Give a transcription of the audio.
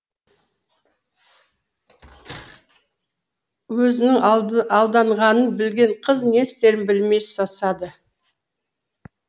өзінің алданғанын білген қыз не істерін білмей сасады